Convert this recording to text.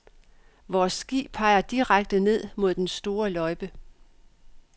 Vores ski peger direkte ned mod den sorte løjpe.